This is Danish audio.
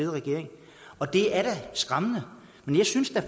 regering og det er da skræmmende men jeg synes da